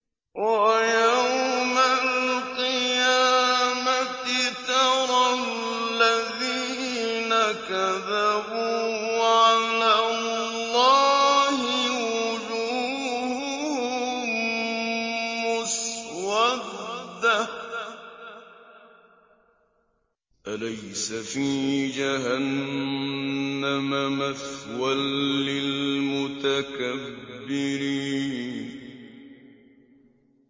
وَيَوْمَ الْقِيَامَةِ تَرَى الَّذِينَ كَذَبُوا عَلَى اللَّهِ وُجُوهُهُم مُّسْوَدَّةٌ ۚ أَلَيْسَ فِي جَهَنَّمَ مَثْوًى لِّلْمُتَكَبِّرِينَ